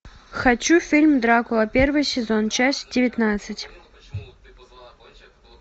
хочу фильм дракула первый сезон часть девятнадцать